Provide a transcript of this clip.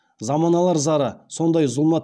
заманалар зары сондай зұлмат